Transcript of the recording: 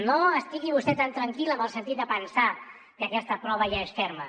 no estigui vostè tan tranquil en el sentit de pensar que aquesta prova ja és ferma